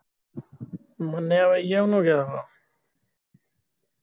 ਮੰਨਿਆ ਈ ਯਾ ਗਿਆ ਆ